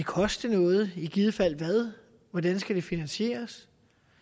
koste noget og i givet fald hvad hvordan skal det finansieres